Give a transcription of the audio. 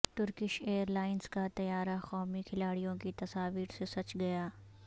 Turkish airlines کا طیارہ قومی کھلاڑیوں کی تصاویر سے سج گیا